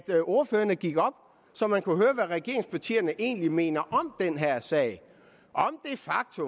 ordførerne gik op på så man kunne høre hvad regeringspartierne egentlig mener om den her sag